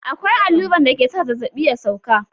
Akwai alluran dake sa zazzaɓi ya sauka.